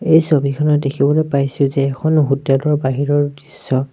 এই ছবিখনত দেখিবলৈ পাইছোঁ যে এখন হোটেল ৰ বাহিৰৰ দৃশ্য।